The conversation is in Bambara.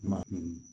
Ma